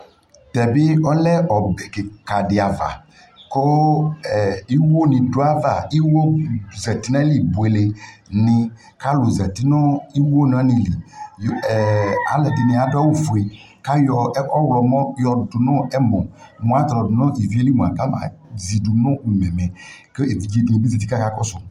Tɛ be ɔlɛ ɔbɛ kika de ava ko ɛɛ iwo ne do ava, iwo zati nayili bule ne kalu zati no iwo na ne li, ɛɛ alɛde ne ado awufue, ɛ, kayɔ ɔwlɔmɔ yɔdu no ɛmɔ ka tɔlɔ do no ivie li moa kaba